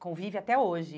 Convive até hoje.